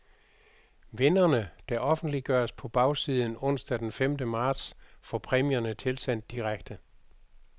Vinderne, der offentliggøres på bagsiden onsdag den femte marts, får præmierne tilsendt direkte.